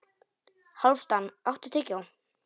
Hálfdan, áttu tyggjó?